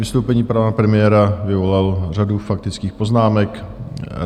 Vystoupení pana premiéra vyvolalo řadu faktických poznámek.